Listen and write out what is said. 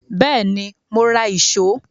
Bẹ́ẹ̀ni, mo ra ìṣó